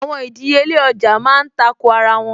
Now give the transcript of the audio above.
Àwọn ìdíyelé ọjà má ń tako ara wọn